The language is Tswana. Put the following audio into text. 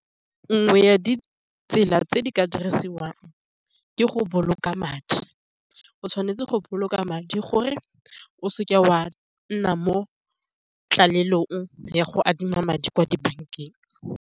Nngwe ya ditsela tse di ka diriwang ke go boloka madi, o tshwanetse go boloka madi gore o seke wa nna mo tlaleletsong ya go adima madi kwa dibankeng o.